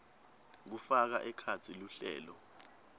kufaka ekhatsi luhlelo